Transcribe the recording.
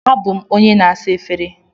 Abụ m onye na-asa efere.